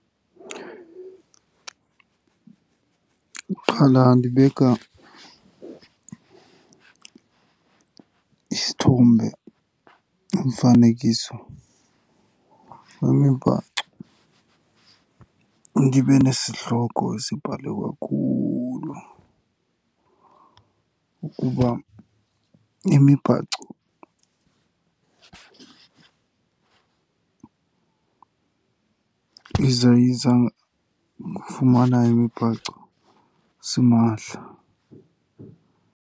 Qala ndibeka isithombe, umfanekiso wemibhaco. Ndibe nesihloko esibhalwe kakhulu ukuba imibhaco , yiza yiza kufumana imibhaco simahla.